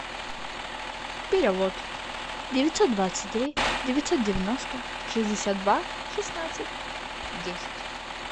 перевод девятьсот двадцать три девятьсот девяносто шестьдесят два шестнадцать десять